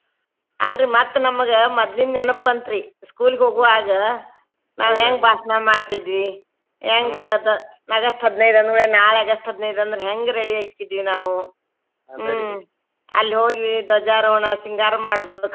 ಅಲ್ರೀ ಮತ್ತ ನಮಗ ಮೊದ್ಲಿನ್ ನೆನಪ್ ಬಂತ್ರಿ school ಗ್ ಹೋಗುವಾಗ ನಾವ್ ಹೆಂಗ್ ಭಾಷ್ಣ ಮಾಡ್ತಿದ್ವಿ ಹೆಂಗ್ August ಹದಿನೈದ್ ಅಂದ್ಕೂಡ್ಲೆ ನಾಳೆ August ಹದಿನೈದ್ ಅಂದ್ರೆ ಹೆಂಗ್ ready lng:Foreign ಆಕ್ಕಿದ್ವಿ ನಾವು ಹ್ಮ್‌ ಅಲ್ಲಿ ಹೋಗಿ ಧ್ವಜಾರೋಹಣ ಸಿಂಗಾರ ಮಾಡೋದನ್ನ.